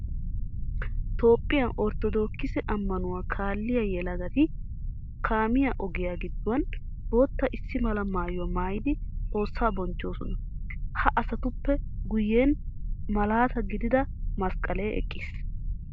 Toophphiya orttodookiise amanuwaa kaalliya yelagati kaamiya ogiya giduwan bootta issi mala maayuwa maayidi xoossa bonchchoosona. Ha asatuppe guyen malatta gidida masqqalle eqqiis.